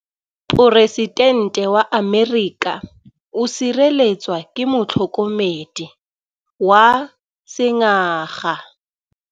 Poresitêntê wa Amerika o sireletswa ke motlhokomedi wa sengaga.